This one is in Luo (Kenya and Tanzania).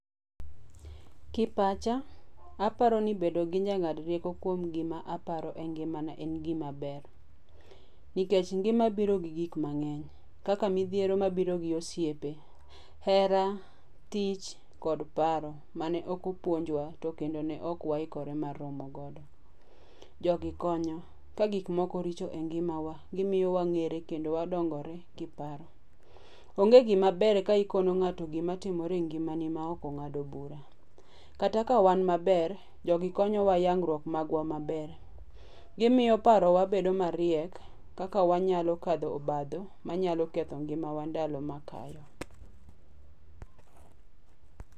Kipacha, aparo ni bedo gi jang'ad rieko kuom gima aparo e ngimana en gima ber. Nikech ngima biro gi gik mang'eny. Kaka midhiero mabiro gi osiepe, hera, tich kod paro, mane ok opuonjwa to kendo ne ok waikre mar romo godo. Jogi konyo. Ka gikmoko richo e ngimawa, gimiyo wang'ere kendo wadongore kiparo. Onge gimabere ka ikono ng'ato gima timore e ngimani ma ok ong'ado bura. Kata ka wan maber, jogi konyowa yangruok magwa maber. Gimiyo parowa bedo mariek, kaka wanyalo kadho obadho manyalo ketho ngimawa ndalo makayo.